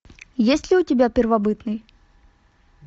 есть ли у тебя первобытный